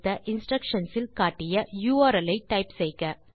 instructions இல் காட்டிய URL ஐ டைப் செய்க